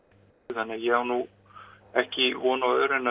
þannig að ég á nú ekki von á öðru en